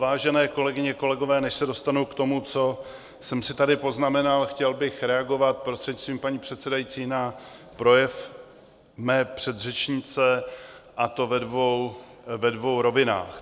Vážené kolegyně, kolegové, než se dostanu k tomu, co jsem si tady poznamenal, chtěl bych reagovat, prostřednictvím paní předsedající, na projev mé předřečnice, a to ve dvou rovinách.